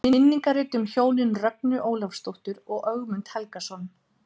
Minningarrit um hjónin Rögnu Ólafsdóttur og Ögmund Helgason.